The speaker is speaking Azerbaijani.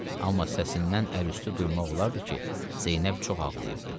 Amma səsindən əl üstü duymaq olardı ki, Zeynəb çox ağlayıbdı.